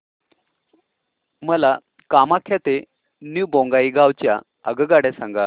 मला कामाख्या ते न्यू बोंगाईगाव च्या आगगाड्या सांगा